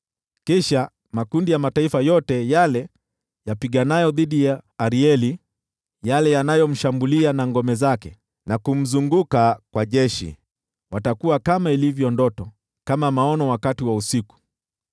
Kisha makundi ya mataifa yote yale yapiganayo dhidi ya Arieli, yale yanayomshambulia yeye na ngome zake, na kumzunguka kwa jeshi, watakuwa kama ilivyo ndoto, kama maono wakati wa usiku: